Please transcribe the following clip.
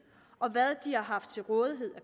og hvad de har haft til rådighed af